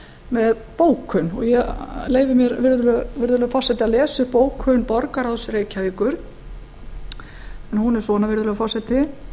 með bókun og ég leyfi mér virðulegur forseti að lesa upp bókun borgarráðs reykjavíkur en hún er svona virðulegur forseti